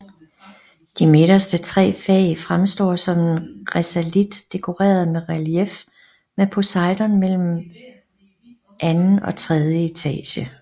De midterste tre fag fremstår som en risalit dekoreret med relief med Poseidon mellem mellem anden og tredje etage